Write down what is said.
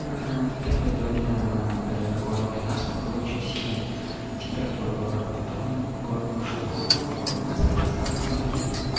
ав в первые два дня болело горло и насморк был очень сильный температура была потом горло ушло насморк остался ну такие